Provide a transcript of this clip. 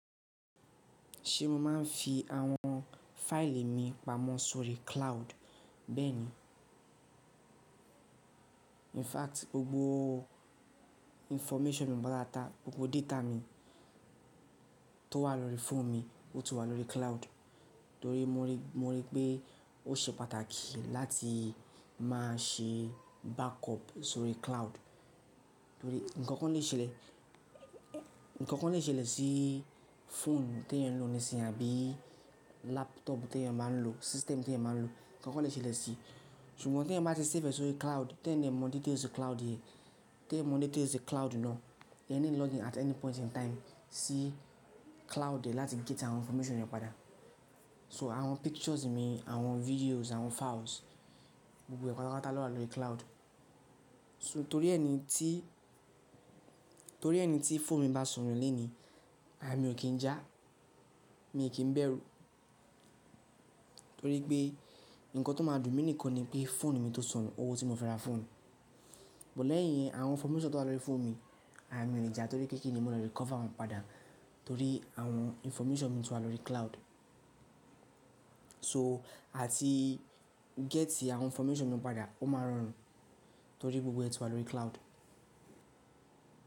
Ṣé mo máa ń fi àwọn fáìlì mi pamọ́ sórí cloud? Bẹ́ẹ̀ni. In fact, gbogbo information mi pátápátá, gbogbo data mi tó wà lórí fóònù mi, ó ti wà lórí cloud. Torí mo rí, mo rí pé ó ṣe pàtàkì láti má ṣe backup sórí cloud. Torí ǹkankan lè ṣẹlẹ̀, ǹkankan lè ṣẹlẹ̀ sí fóònù tí èèyàn ń lò nísinyìí àbí laptop tí èèyàn máa ń lò, system tí èèyàn máa ń lò, ǹkankan lè ṣẹlẹ̀ sí i. Ṣùgbọ́n tí èèyàn bá ti save ẹ sórí cloud, te yan mọ̀ details cloud e, te yan mọ̀ details cloud náà, e need login at any point in time sí cloud yẹn láti get àwọn information yẹn padà. So àwọn pictures mi, àwọn videos, àwọn files, gbogbo ẹ́ pátápátá lọ́wa lórí cloud. So torí ẹni tí, torí ẹni tí fóònù mi bá sanù lónìí, àya mi ò kí ń já, mí ò kí ń bẹ̀rù. Torí pé ǹkan tó máa dùn mí nìkan ni pé fóònù mi tó sanù, owó tí mo fẹ́ ra fóònù. Lẹ́yìn yẹn, àwọn information tó wà lórí fóònù mi àyà mi ò lè já torí pé kinni mo le recover wọn padà. Torí àwọn information mi tún wà lórí cloud. Ṣo, a ti get àwọn information mi padà ó má rọrùn torí gbogbo ẹ ti wà lórí cloud.